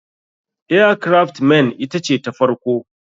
Air craft men ita ce ta farko.